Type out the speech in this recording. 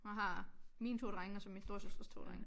Hun har mine to drenge og så min storesøsters to drenge